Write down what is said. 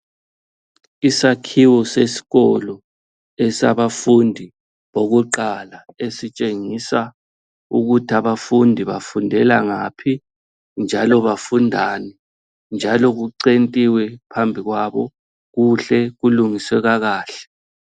Isakhiwo sesikolo esabafundi bokuqala esitshengisa ukuthi abafundi bafundela ngaphi njalo bafundani njalo kucentiwe phambi kwabo kuhle kulungiswe kakahle.